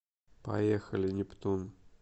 поехали нептун